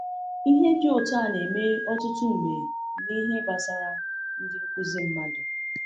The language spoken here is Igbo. Ihe dị otu a na-eme ọtụtụ mgbe n’ihe gbasara ndị nkuzi mmadụ.